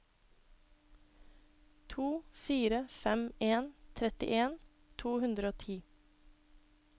to fire fem en trettien to hundre og ti